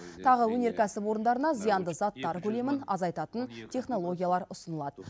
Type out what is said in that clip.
тағы өнеркәсіп орындарына зиянды заттар көлемін азайтатын технологиялар ұсынылады